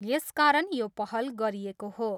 यसकारण यो पहल गरिएको हो।